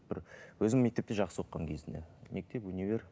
бір өзім мектепте жақсы оқығанмын кезінде мектеп универ